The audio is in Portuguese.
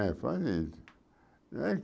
É. é